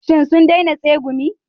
Shin sun daina tsegumi?